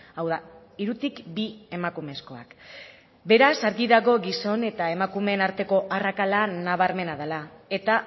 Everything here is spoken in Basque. hau da hirutik bi emakumezkoak beraz argi dago gizon eta emakumeen arteko arrakala nabarmena dela eta